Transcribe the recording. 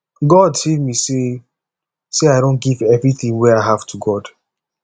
god save me say say i don give everything wey i have to god